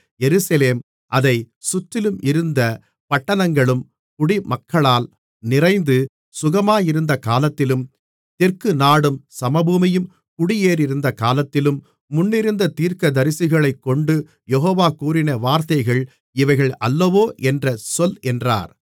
எருசலேமும் அதைச் சுற்றிலும் இருந்த பட்டணங்களும் குடிமக்களால் நிறைந்து சுகமாயிருந்த காலத்திலும் தெற்கு நாடும் சமபூமியும் குடியேறியிருந்த காலத்திலும் முன்னிருந்த தீர்க்கதரிசிகளைக்கொண்டு யெகோவா கூறின வார்த்தைகள் இவைகள் அல்லவோ என்ற சொல் என்றார்